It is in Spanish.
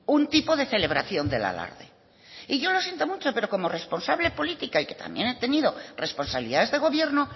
un tipo de celebración del alarde y yo lo siento mucho pero como responsable política y que también he tenido responsabilidades de gobierno